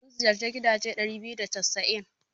Mun ziyarci gidaje ɗari biyu da casa'in.